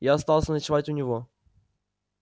я остался ночевать у него